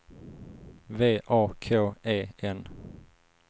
V A K E N